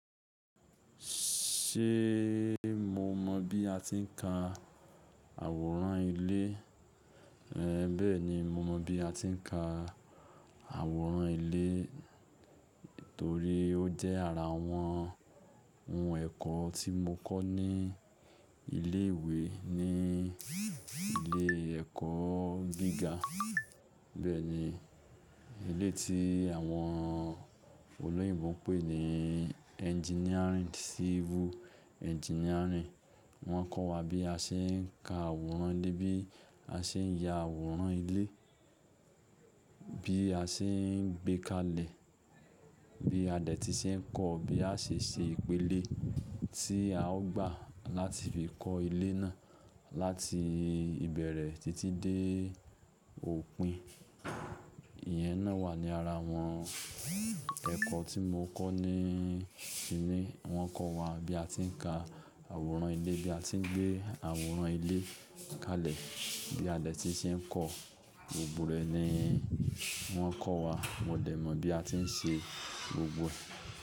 Ṣé mo mọ bí a ti ń ka àwòrán ilé? Bẹ́ẹ̀ni, mo mọ bí a ti ń ka àwòrán ilé torí ó jẹ́ ara àwọn ohun ẹ̀kọ́ tí mo kọ́ ní ilé ìwé ní ilé ẹ̀kọ́ gíga. Bẹ́ẹ̀ni, ilé yí ti àwọn olóyìnbo ń pè ní engineering, civil engineering. Wọ́n kọ́ wa bí a ṣe ń ka àwòrán ilé, bí a ṣe ń ya àwòrán ilé, bí a ṣe ń gbé kalẹ̀, bí adẹ́tì ṣe ń kọ, bí a ṣe ń ṣe ìpele tí a ó gbà láti fi kọ́ ilé náà, láti ìbẹ̀rẹ̀ títí dé òpin. Ìyẹn náà wà ní ara àwọn ẹ̀kọ́ tí mo kọ́ ní ti mí. Wọ́n kọ́ wa bí a ti ń ka àwòrán ilé, bí a ti ń gbé àwòrán ilé kalẹ̀, bí adẹ́tì ṣe ń kọ̀. Gbogbo rẹ̀ ni wọ́n kọ́ wa. Mo dẹ̀ mọ̀ bí a ti ń ṣe gbogbo ẹ̀.